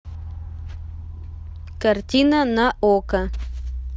картина на окко